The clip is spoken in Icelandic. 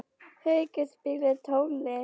Haukur, spilaðu tónlist.